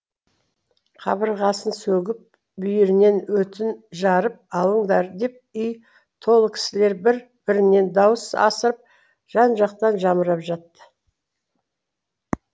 қабырғасын сөгіп бүйірінен өтін жарып алыңдар деп үй толы кісілер бір бірінен дауыс асырып жан жақтан жамырап жатты